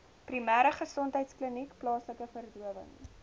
primêregesondheidkliniek plaaslike verdowing